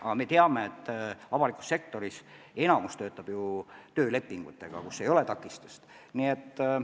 Aga me teame, et avalikus sektoris enamik inimesi töötab ju töölepingutega, mille puhul ei ole vähimatki takistust.